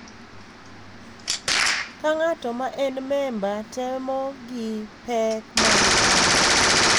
Ka ng’ato ma en memba temo gi pek mag paro.